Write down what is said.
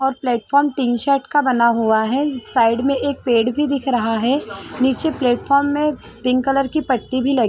और platform tin shed का बना हुआ है साइड में पेड़ भी दिख रहा है नीचे प्लेटफ्रॉम में पिंक कलर की पट्टी भी लगी--